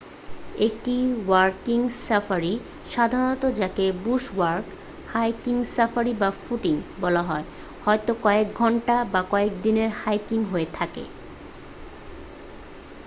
"একটি walking safari সাধারণত যাকে "বুশ ওয়াক" "হাইকিং সাফারি" বা "ফুটিং" বলা হয় হয় কয়েক ঘন্টা বা কয়েক দিনের হাইকিং হয়ে থাকে।